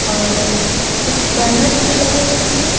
और कुछ बैनर्स भी लगे हुए हैं।